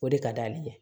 O de ka d'ale ye